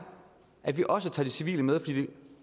at vi også tager civile med fordi det